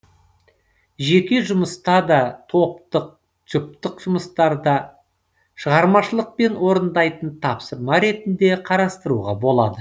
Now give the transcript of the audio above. жеке жұмыста да топтық жұптық жұмыстарда шығармашылықпен орындайтын тапсырма ретінде қарастыруға болады